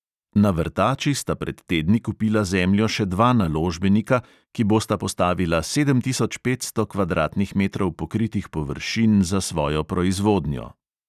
Na vrtači sta pred tedni kupila zemljo še dva naložbenika, ki bosta postavila sedem tisoč petsto kvadratnih metrov pokritih površin za svojo proizvodnjo.